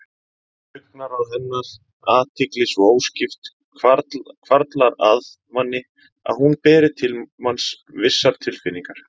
Augnaráð hennar, athygli svo óskipt, hvarflar að manni að hún beri til manns vissar tilfinningar.